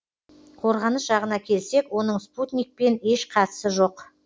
қорғаныс жағына келсек оның спутникпен еш қатысы жоқ